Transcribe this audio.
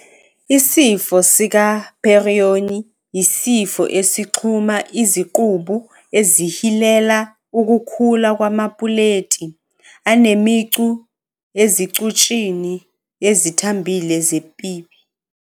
Isifo sikaPeyronie yisifo esixhuma izicubu esihilela ukukhula kwamapuleti anemicu ezicutshini ezithambile zepipi.